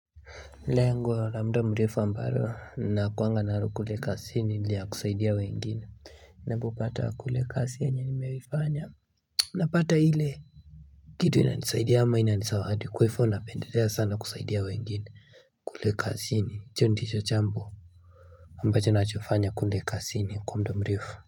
Lengo la muda mrefu ambalo nakuwanga nalo kule kazini la kusaidia wengine Ninapopata kule kazini yenye nimeifanya Napata ile kitu inanisaidia ama inanizawadi kwa hivyo napendelea sana kusaidia wengine kule kazini hicho ndicho jambo ambacho nachofanya kule kazini kwa mdo mrefu.